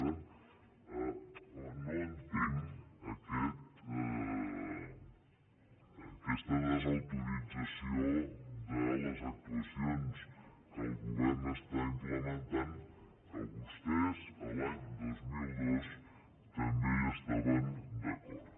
i per tant home no entenc aquesta desautorització de les actuacions que el govern implementa amb les quals vostès l’any dos mil dos també estaven d’acord